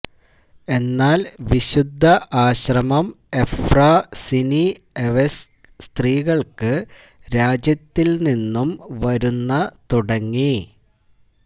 എന്നാൽ വിശുദ്ധ ആശ്രമം എഫ്രൊസിനിഎവ്സ്ക്യ് സ്ത്രീകൾക്ക് രാജ്യത്തിന്റെ നിന്നും വരുന്ന തുടങ്ങി